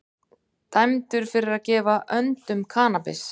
Dæmdur fyrir að gefa öndum kannabis